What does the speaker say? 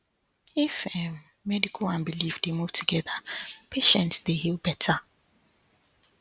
if um medical and belief dey move together patients dey heal better